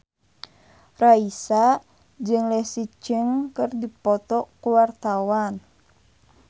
Raisa jeung Leslie Cheung keur dipoto ku wartawan